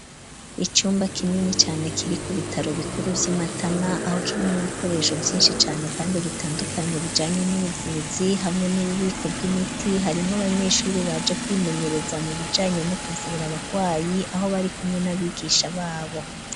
Icumba kinini cane kiri ku bitaro bikuru vy'imatana aho kirimo ibikoresho byinshi cyane kandi bitandukanye bijanye n'ubuvuzi hamwe n'ububiko bw'imiti harimwo abanyeshuri baje kwimenyereza mu bijanye no kuvura abagwayi aho bari kumwe n'abigisha babo.